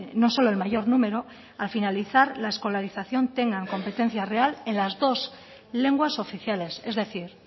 no solo el mayor número al finalizar la escolarización tengan competencia real en la dos lenguas oficiales es decir